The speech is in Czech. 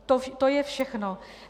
To je všechno.